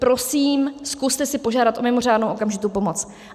Prosím, zkuste si požádat o mimořádnou okamžitou pomoc.